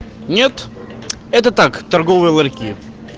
нет это так торговые ларьки